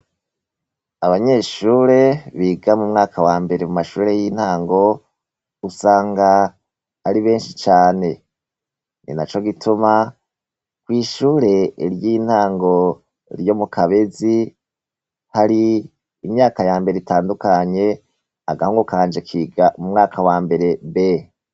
Abanyeshure biga mu mwaka wa mbere mu mashure y'intango, usanga ari benshi cane. Ninaco gituma, kw'ishure ry'intango ryo mu Kabezi, hari imyaka yambere itandukanye, agahungu kanje kiga mu mwaka wa mbere B.